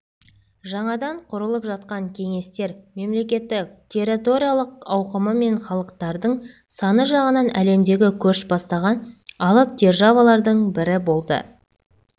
жаңадан құрылып жатқан кеңестер мемлекеті территориялық ауқымы мен халықтардың саны жағынан әлемдегі көш бастаған алып державалардың бірі болды